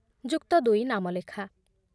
ଯୁକ୍ତଦୁଇ ନାମଲେଖା